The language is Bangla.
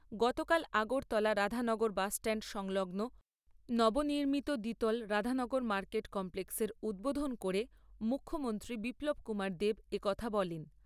গতকাল আগরতলা রাধানগর বাসস্ট্যান্ড সংলগ্ন নবনির্মিত দ্বিতল রাধানগর মার্কেট কমপ্লেক্সের উদ্বোধন করে মুখ্যমন্ত্রী বিপ্লব কুমার দেব এ কথা বলেন।